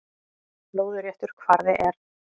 Lóðréttur kvarði er